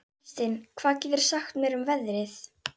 Kristin, hvað geturðu sagt mér um veðrið?